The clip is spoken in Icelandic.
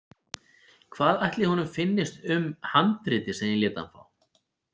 Hvað ætli honum finnist um handritið sem ég lét hann fá?